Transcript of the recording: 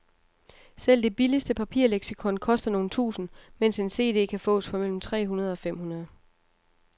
Selv det billigste papirleksikon koster nogle tusinde, mens en cd kan fås for mellem tre hundrede og fem hundrede.